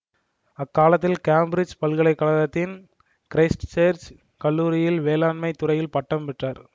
அக்காலத்தில் கேம்பிட்சுப் பல்கலை கழகத்தின் கிறைஸ்ட் சேர்ச் கல்லூரியில் வேளாண்மை துறையில் பட்டம் பெற்றார்